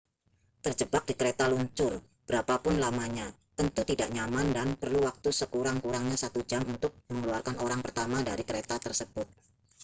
terjebak di kereta luncur berapa pun lamanya tentu tidak nyaman dan perlu waktu sekurang-kurangnya satu jam untuk mengeluarkan orang pertama dari kereta tersebut